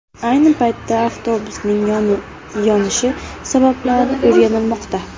Ayni paytda avtobusning yonishi sabablari o‘rganilmoqda.